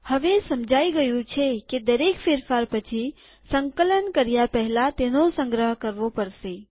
હવે સમજાઈ ગયું છે કે દરેક ફેરફાર પછી સંકલન કર્યાં પહેલા તેનો સંગ્રહ કરવો પડશે